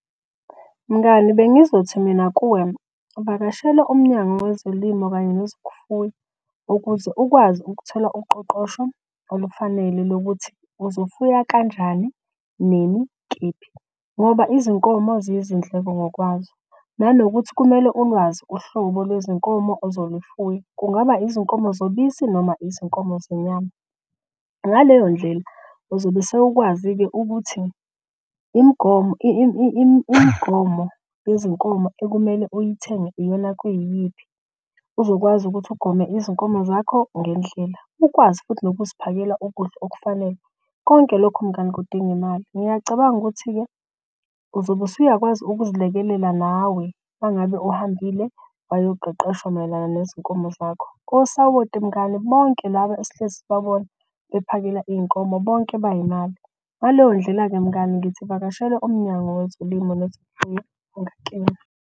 Mngani bengizothi mina kuwe, vakashela Umnyango wezoLimo kanye nezokuFuya. Ukuze ukwazi ukuthola uqoqosho olufanele lokuthi uzofuya kanjani, nini, kephi ngoba izinkomo ziyizindleko ngokwazo. Nanokuthi kumele ulwazi uhlobo lwezinkomo ozolufuya, kungaba izinkomo zobisi noma izinkomo zenyama. Ngaleyo ndlela uzobe sewukwazi-ke ukuthi imigomo yezinkomo ekumele uyithenge iyona kuyiyiphi uzokwazi ukuthi ugome izinkomo zakho ngendlela. Ukwazi futhi nokuziphakela ukudla okufanele, konke lokho mngani kudinga imali. Ngiyacabanga ukuthi-ke uzobe usuyakwazi ukuzilekelela nawe uma ngabe uhambile wayoqeqeshwa mayelana nezinkomo zakho. Kosawoti mngani bonke laba esihlezi sibabona bephakela iy'nkomo bonke bay'mali. Ngaleyo ndlela-ke mngani ngithi vakashela Umnyango weZolimo nezokuFuya .